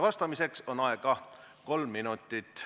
Vastamiseks on aega kolm minutit.